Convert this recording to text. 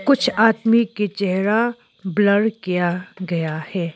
कुछ आदमी के चेहरा ब्लर किया गया है।